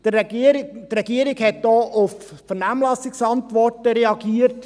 Die Regierung hat auch auf Vernehmlassungsantworten reagiert;